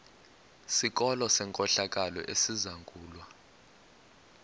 sikolo senkohlakalo esizangulwa